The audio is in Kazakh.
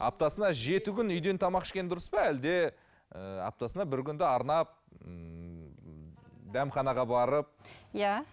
аптасына жеті күн үйден тамақ ішкені дұрыс па әлде ііі аптасына бір күнді арнап ііі дәмханаға барып иә